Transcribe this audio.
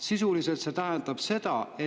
Sisuliselt see tähendab seda, et …